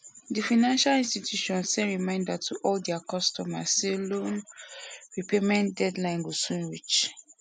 di financial institution send reminder to all their customers say loan repayment deadline go soon reach